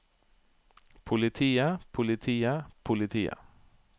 politiet politiet politiet